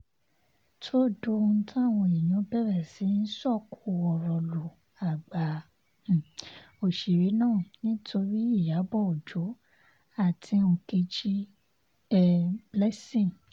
tó dohun táwọn èèyàn bẹ̀rẹ̀ sí í sọ̀kò ọ̀rọ̀ lu àgbà um òṣèré náà nítorí iyábọ̀ ọjọ́ àti nkechi um blessing